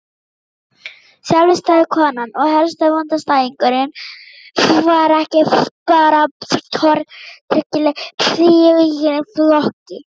Sjálfstæðiskonan og herstöðvaandstæðingurinn var ekki bara tortryggileg í eigin flokki.